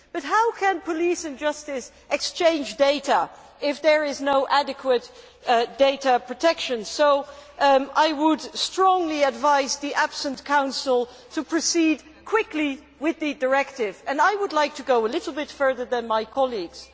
But how can police and justice exchange data if there is no adequate data protection? So I would strongly advise the absent Council to proceed quickly with the directive and I would like to go a little bit further than my colleagues